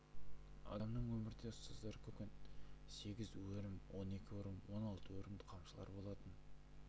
адамның өмірде ұстаздары көп болуы мүмкін сегіз өрім он екі өрім он алты өрімдік қамшылар болатын